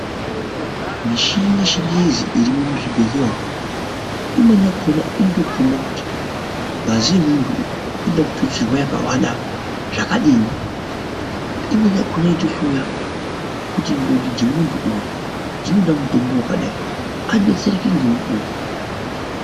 Mishini yechingezi irimuzvibhehleya umu, imweni yakhona inotokhomba kuti ngazi yemuntu uyu inoda kututsirwa zvakadini. Imweni yakhona inotohloya kuti ndxondo dzemuntu uyu dzinoda mutombo wakadai adetsereke ngemukuwo.